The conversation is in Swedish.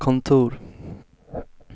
kontor